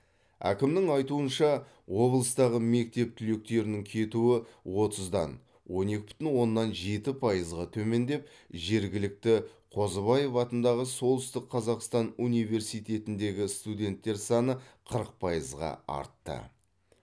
әкімнің айтуынша облыстағы мектеп түлектерінің кетуі отыздан он екі бүтін оннан жеті пайызға төмендеп жергілікті қозыбаев атындағы солтүстік қазақстан университетіндегі студенттер саны қырық пайызға артты